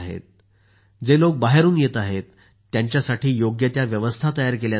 जे लोक बाहेरून येत आहेत त्यांच्यासाठी योग्य त्या व्यवस्था तयार केल्या जात आहेत